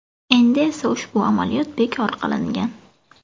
Endi esa ushbu amaliyot bekor qilingan.